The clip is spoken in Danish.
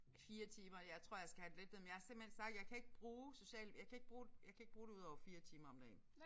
4 timer jeg tror jeg skal have det lidt ned men jeg har simpelthen sagt jeg kan ikke bruge social jeg kan ikke bruge jeg kan ikke bruge det udover 4 timer om dagen